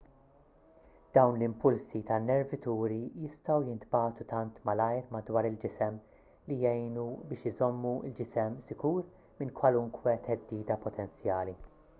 dawn l-impulsi tan-nervituri jistgħu jintbagħtu tant malajr madwar il-ġisem li jgħinu biex iżommu l-ġisem sikur minn kwalunkwe theddida potenzjali